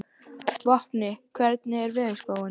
Vopni, hvernig er veðurspáin?